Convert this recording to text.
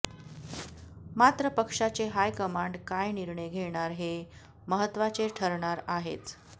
मात्र पक्षाचे हायकमांड काय निर्णय घेणार हे महत्वाचे ठरणार आहेच